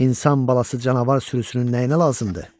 İnsan balası canavar sürüsünün nəyinə lazımdır?